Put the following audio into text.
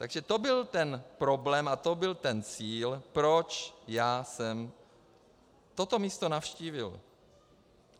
Takže to byl ten problém a to byl ten cíl, proč já jsem toto místo navštívil.